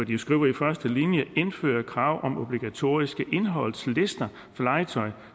de skriver i første linje indføre krav om obligatoriske indholdslister for legetøj